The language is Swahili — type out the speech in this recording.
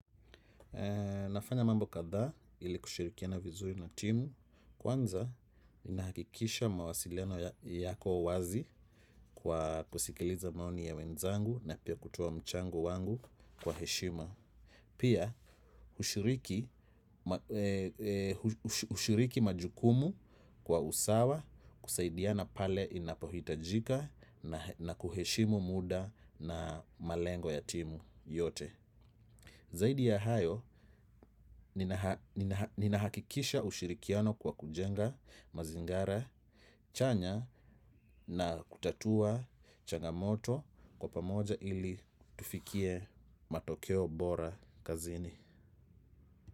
Nafanya mambo kadhaa, ili kushirikiana vizuri na timu. Kwanza ninahakikisha mawasiliano yako wazi kwa kusikiliza maoni ya wenzangu na pia kutoa mchango wangu kwa heshima. Pia, ushiriki majukumu, kwa usawa, kusaidiana pale inapohitajika na kuheshimu muda na malengo ya timu yote. Zaidi ya hayo, ninahakikisha ushirikiano kwa kujenga, mazingara chanya na kutatua changa moto kwa pamoja ili tufikie matokeo bora kazini.